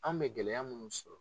An bɛ gɛlɛya munnu sɔrɔ